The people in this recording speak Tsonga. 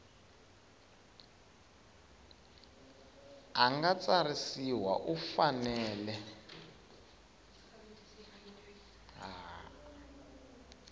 a nga tsarisiwa u fanele